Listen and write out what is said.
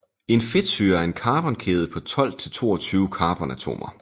En fedtsyre er en carbonkæde på 12 til 22 carbonatomer